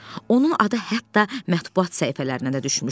Onun adı hətta mətbaut səhifələrinə də düşmüşdü.